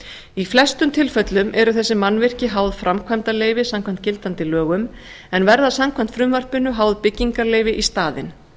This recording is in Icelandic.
í flestum tilfellum eru þessi mannvirki háð framkvæmdarleyfi samkvæmt gildandi lögum en verða samkvæmt frumvarpinu háð byggingarleyfi í staðinn